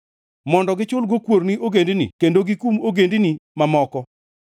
mondo gichulgo kuor ni ogendini kendo gikum ogendini mamoko,